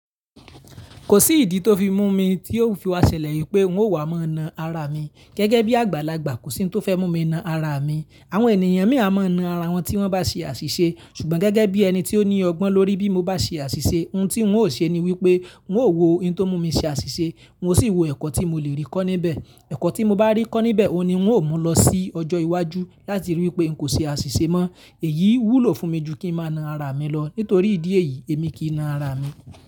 Kò sí ìdí tó fi mú mi tí ó fi wá ṣẹlẹ̀ yí pé n ó wà má na ara mi. Gẹ́gẹ́ bí àgbàlagbà kò sí n tó fẹ́ mú mi na ara mi. Àwọn ènìyàn mi a má na ara wọn tí wọ́n bá ṣe àṣìṣe ṣùgbọ́n gẹ́gẹ́ bí ẹni tí ó ní ọgbọ́n lórí bí mo bá ṣe àṣìṣe, ohun tí n ó ṣe ni wípé ń ó wò ohun tó mú mi ṣe àṣìṣe, ń ó sì wò ẹ̀kọ́ tí mo le rí kọ́ níbẹ̀. Ẹ̀kọ́ tí mo bá rí kọ́ níbẹ̀ òní ń ó mú lọ sí ọjọ́ iwájú láti rí i pé n kò ṣe àṣìṣe mọ. Èyí wúlò fún mi ju kí n má na ara mi lọ. Nítorí ìdí èyí èmi kì í na ara mi.